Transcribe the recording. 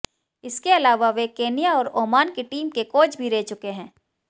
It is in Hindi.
इसके अलावा वे केन्या और ओमान की टीम के कोच भी रह चुके हैं